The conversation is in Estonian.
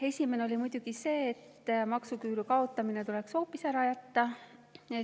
Esimene oli muidugi see, et maksuküüru kaotamine tuleks hoopis ära jätta.